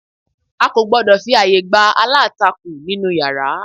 A kò gbọ́dọ̀ fi àyè gba alantakun nínú yàrá